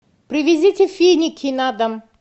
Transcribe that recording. привезите финики на дом